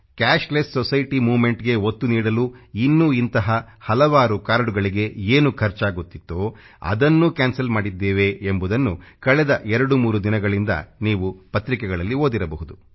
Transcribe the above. cashless society MOVEMENTಗೆ ಒತ್ತು ನೀಡಲು ಇನ್ನೂ ಇಂಥ ಹಲವಾರು ಕಾರ್ಡಗಳಿಗೆ ಏನು ಖರ್ಚಾಗುತ್ತಿತ್ತೋ ಅದನ್ನೂ ಕ್ಯಾನ್ಸಲ್ ಮಾಡಿದ್ದೇವೆ ಎಂಬುದನ್ನು ಕಳೆದ 2 3 ದಿನಗಳಿಂದ ನೀವು ಪತ್ರಿಕೆಗಳಲ್ಲಿ ಓದಿರಬಹುದು